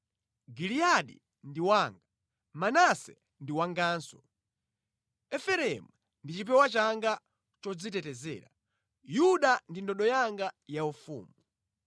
Giliyadi ndi wanga, Manase ndi wanganso; Efereimu ndi chipewa changa chodzitetezera, Yuda ndi ndodo yanga yaufumu